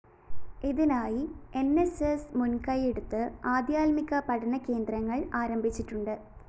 ഇതിനായി ന്‌ സ്‌ സ്‌ മുന്‍കയ്യെടുത്ത് ആധ്യാത്മിക പഠനകേന്ദ്രങ്ങള്‍ ആരംഭിച്ചിട്ടുണ്ട്